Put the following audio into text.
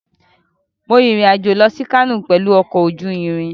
Mo rin ìrìn-àjò lọ sí Kano pẹ̀lú ọkọ̀ ojú irin.